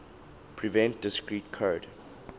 prevent discrete code